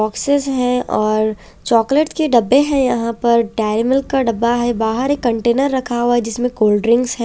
Boxes हैं और chocolate के डब्बे हैं यहाँ पर डेरी मिल्क का डब्बा है बाहर एक कंटेनर रखा हुआ है जिसमें कोल्ड ड्रिंक्स हैं।